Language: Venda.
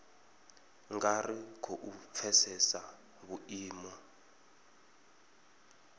nga ri khou pfesesa vhuimo